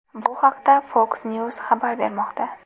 Bu haqda FoxNews xabar bermoqda .